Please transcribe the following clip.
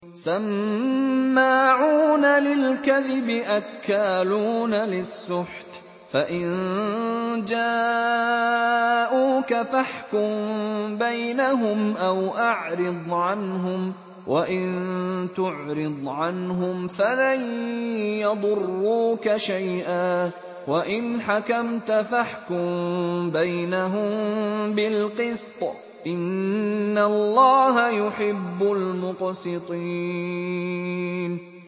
سَمَّاعُونَ لِلْكَذِبِ أَكَّالُونَ لِلسُّحْتِ ۚ فَإِن جَاءُوكَ فَاحْكُم بَيْنَهُمْ أَوْ أَعْرِضْ عَنْهُمْ ۖ وَإِن تُعْرِضْ عَنْهُمْ فَلَن يَضُرُّوكَ شَيْئًا ۖ وَإِنْ حَكَمْتَ فَاحْكُم بَيْنَهُم بِالْقِسْطِ ۚ إِنَّ اللَّهَ يُحِبُّ الْمُقْسِطِينَ